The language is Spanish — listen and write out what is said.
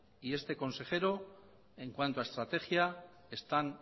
y este consejero en cuanto a estrategia están